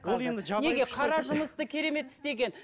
ол енді қара жұмысты керемет істеген